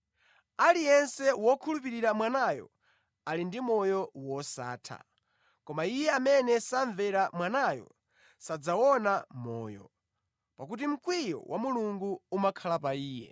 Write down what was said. Aliyense wokhulupirira Mwanayo ali ndi moyo wosatha, koma iye amene samvera Mwanayo sadzawuona moyo, pakuti mkwiyo wa Mulungu umakhala pa iye.”